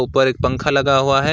ऊपर एक पंखा लगा हुआ है।